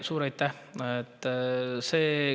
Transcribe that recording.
Suur aitäh!